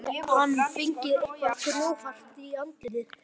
Þá hafði hann fengið eitthvað grjóthart í andlitið.